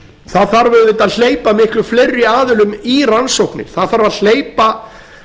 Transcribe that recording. það þarf auðvitað að hleypa miklu fleiri aðilum í rannsóknir það þarf að hleypa